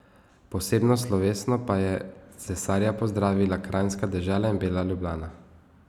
Posebno slovesno pa je cesarja pozdravila kranjska dežela in bela Ljubljana.